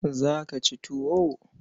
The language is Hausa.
Za ka ci tuwo?